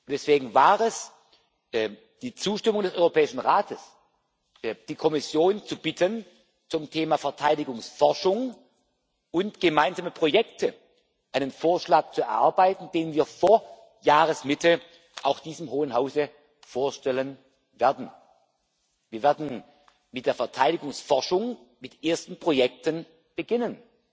Deswegen war es die Zustimmung des Europäischen Rates, die Kommission zu bitten, zum Thema Verteidigungsforschung und gemeinsame Projekte einen Vorschlag zu erarbeiten, den wir vor Jahresmitte auch diesem Hohen Hause vorstellen werden. Wir werden mit der Verteidigungsforschung mit ersten Projekten beginnen.